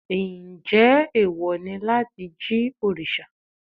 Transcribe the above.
Njẹ́ ẹ̀wọ̀ ni láti jí òrìṣà?